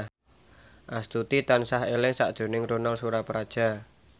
Astuti tansah eling sakjroning Ronal Surapradja